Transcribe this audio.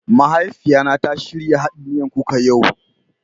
Mahaifiyan na ta shirya haɗɗen miyan kuka yau.